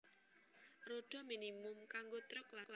Rodha minimum kanggo truk lan bus